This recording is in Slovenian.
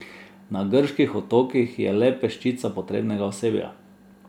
Na grških otokih je le peščica potrebnega osebja.